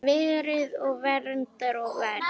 Verið og verndað og vermt.